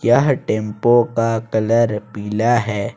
यह टेंपो का कलर पीला है।